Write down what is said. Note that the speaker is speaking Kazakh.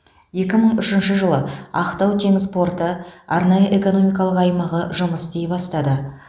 екі мың үшінші жылы ақтау теңіз порты арнайы экономикалық аймағы жұмыс істей бастады